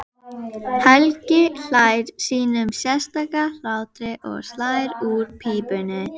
Sú sögn, þar sem maður kveðst heita